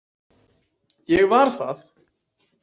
Ég var það.